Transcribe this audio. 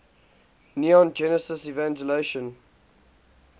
neon genesis evangelion